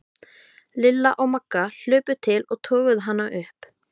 Lilla og Magga hlupu til og toguðu hana upp.